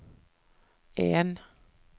en